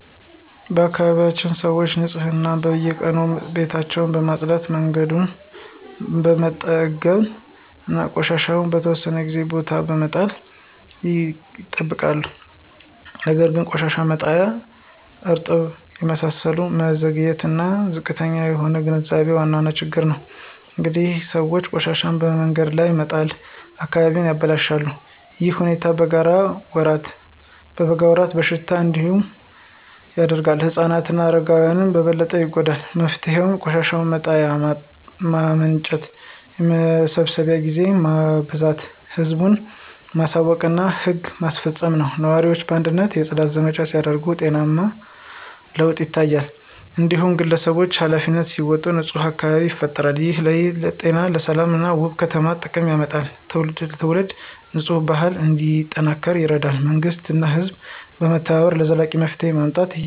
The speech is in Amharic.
በአካባቢያችን ሰዎች ንፅህናን በየቀኑ ቤታቸውን በመጽዳት መንገዶችን በመጠገን እና ቆሻሻ በተወሰነ ቦታ በመጣል ይጠብቃሉ። ነገር ግን የቆሻሻ መጣያ እጥረት የመሰብሰብ መዘግየት እና ዝቅተኛ የህዝብ ግንዛቤ ዋና ችግሮች ናቸው። አንዳንድ ሰዎች ቆሻሻቸውን በመንገድ ዳር በመጣል አካባቢውን ያበላሻሉ። ይህ ሁኔታ በበጋ ወራት በሽታ እንዲበዛ ያደርጋል ህፃናት እና አረጋውያን በበለጠ ይጎዳሉ። መፍትሄው የቆሻሻ መጣያ ማመንጨት የመሰብሰብ ጊዜ ማበዛት ህዝብን ማሳወቅ እና ህግ ማስፈጸም ነው። ነዋሪዎች በአንድነት የጽዳት ዘመቻ ሲያደርጉ ውጤታማ ለውጥ ይመጣል። እያንዳንዱ ግለሰብ ኃላፊነቱን ሲወጣ ንፁህ አካባቢ ይፈጠራል። ይህ ለጤና ሰላም እና ውበት ከፍተኛ ጥቅም ያመጣል ትውልድ ትውልድ የንፅህና ባህል እንዲጠናከር ይረዳል። መንግሥት እና ህዝብ በመተባበር ዘላቂ መፍትሄ ማምጣት ይችላሉ።